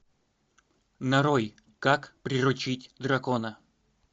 нарой как приручить дракона